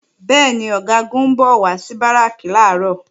Bẹ́ẹ̀ni, Ọ̀gágun ń bọ̀ wá sí Báràkì làárọ̀